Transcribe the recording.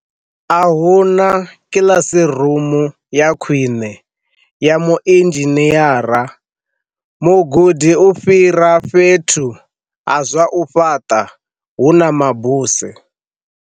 A hu na kilasiru mu ya khwine ya muinzhinieramu gudi u fhira fhethu ha zwa u fhaṱa hu na mabuse na hu.